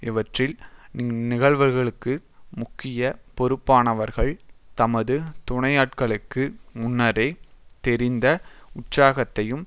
இவற்றில் இந்நிகழ்வுகளுக்கு முக்கிய பொறுப்பானவர்கள் தமது துணையாட்களுக்கு முன்னரே தெரிந்த உற்சாகத்தையும்